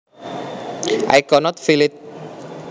I cannot feel it